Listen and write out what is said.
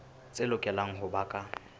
tse lokelang ho ba ka